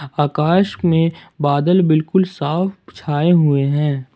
आकाश में बादल बिल्कुल साफ छाए हुए हैं।